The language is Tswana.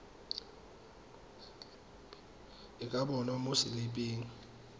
e ka bonwa mo seliping